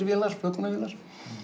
vélar flökunarvélar